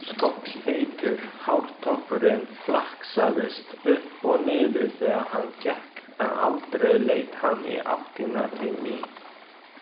Skolleitur hártoppurinn flaksaðist upp og niður þegar hann gekk en aldrei leit hann í áttina til mín.